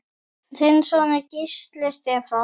Þinn sonur, Gísli Stefán.